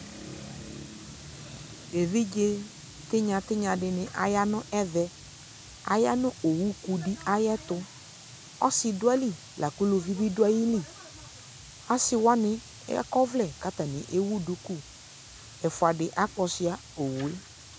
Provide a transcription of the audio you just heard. evidze tinya tinya di ya no ɛvɛ aya no owu ku di ayi eto ɔse do ayi li la ko uluvi bi do ayi li ase wane akɔ ɔvlɛ ko atane ewu duku, ɛfua di akpɔ sua owue